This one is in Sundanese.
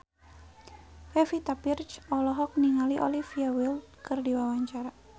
Pevita Pearce olohok ningali Olivia Wilde keur diwawancara